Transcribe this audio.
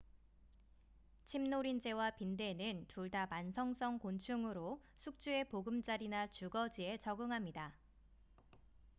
침노린재와 빈대는 둘 다 만성성 곤충으로 숙주의 보금자리나 주거지에 적응합니다